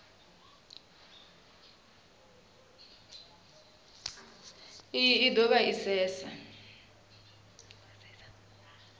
iyi i dovha ya asesa